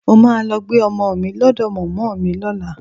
Mo máa lọ gbé ọmọ mi lọ́dọ̀ mọ̀mọ́ mi lọ́la